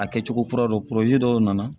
A kɛcogo kura dɔ dɔw nana